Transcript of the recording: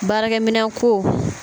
Baarakɛ minɛn ko.